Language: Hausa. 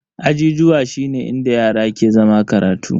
Ajijuwa shine inda yara ke zama karatu.